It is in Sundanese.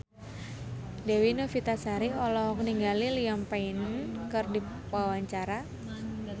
Dewi Novitasari olohok ningali Liam Payne keur diwawancara